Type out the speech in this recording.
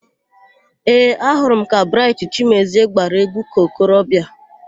Ee, ahụrụ m ka Braịtị Chimezie gbara égwú ka okorobịa.